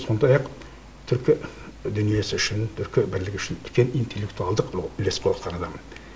сондай ақ түркі дүниесі үшін түркі бірлігі үшін үлкен интеллектуалдық үлес қосқан адам енді